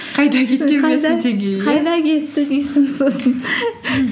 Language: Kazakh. қайда кеткен қайда кетті дейсің сосын